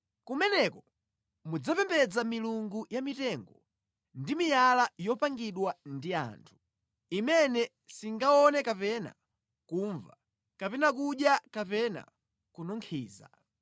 Kumeneko mudzapembedza milungu ya mitengo ndi miyala yopangidwa ndi anthu, imene singaone kapena kumva kapena kudya kapena kununkhiza.